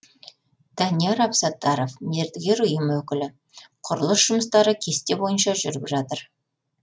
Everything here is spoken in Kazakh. данияр абсаттаров мердігер ұйым өкілі құрылыс жұмыстары кесте бойынша жүріп жатыр